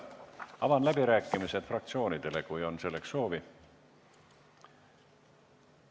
Avan läbirääkimised fraktsioonidele, kui selleks on soovi.